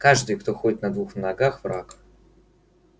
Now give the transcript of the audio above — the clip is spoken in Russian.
каждый кто ходит на двух ногах враг